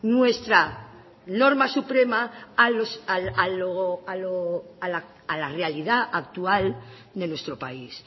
nuestra norma suprema a la realidad actual de nuestro país